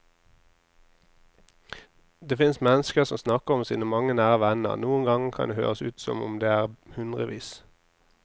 Det finnes mennesker som snakker om sine mange nære venner, noen ganger kan det høres ut som om det er hundrevis.